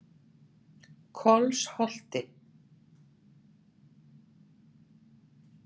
Kolsholti